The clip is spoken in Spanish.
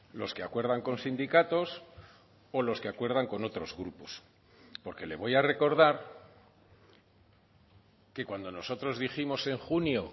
los que acuerdan con sindicatos o los que acuerdan con otros grupos porque le voy a recordar que cuando nosotros dijimos en junio